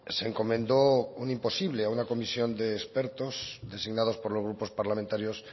se encomendó un imposible a una comisión de expertos designados por los grupos parlamentarios